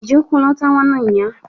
Ị ji ụkwụ lọta nwanne ụnyaa?